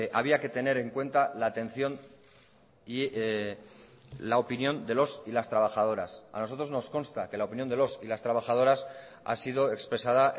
había que tener en cuenta la atención y la opinión de los y las trabajadoras a nosotros nos consta que la opinión de los y las trabajadoras ha sido expresada